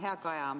Hea Kaja!